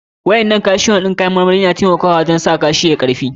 Waƴannan calcium na kayan marmarin na taimaka wajen sa kashi yayi karfi.